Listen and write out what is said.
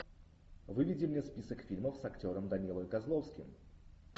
выведи мне список фильмов с актером данилой козловским